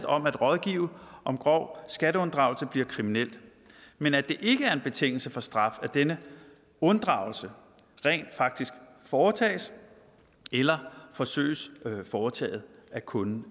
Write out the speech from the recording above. om at rådgive om grov skatteunddragelse bliver kriminelt men at det ikke er en betingelse for straf at denne unddragelse rent faktisk foretages eller forsøges foretaget af kunden